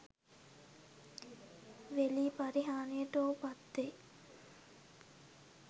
වෙලී පරිහානියට ඔහු පත්වෙයි.